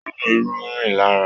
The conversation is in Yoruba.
Oòrùn irú rìn lara.